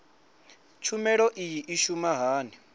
tshumelo iyi i shuma hani